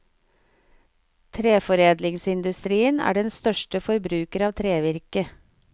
Treforedlingsindustrien er den største forbruker av trevirke.